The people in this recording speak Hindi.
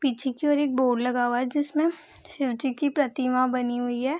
पीछे की ओर एक बोर्ड लगा हुआ है जिसमें शिवजी की प्रतिमा बनी हुई है।